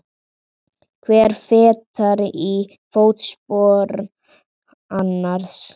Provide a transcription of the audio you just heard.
Hver fetar í fótspor annars.